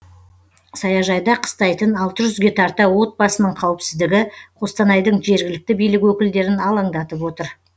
саяжайда қыстайтын алты жүзге тарта отбасының қауіпсіздігі қостанайдың жергілікті билік өкілдерін алаңдатып отыр